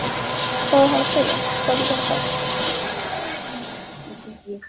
Hvað á hann að segja, hvað getur hann sagt?